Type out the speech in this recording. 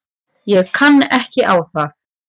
Ég kann ekki á það.